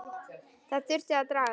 Það þurfti að draga